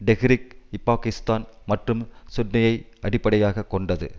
டெஹ்ரிக்இபாகிஸ்தான் மற்றும் சுன்னியை அடிப்படையாக கொண்டது